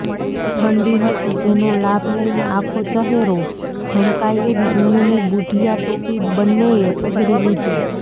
ઠંડી હતી એનો લાભ લઈને આખો ચહેરો ઢંકાય એવી ઊનની બુઢિયા ટોપી બંનેએ પહેરી લીધી